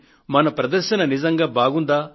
మన ప్రదర్శన నిజంగా బాగుందా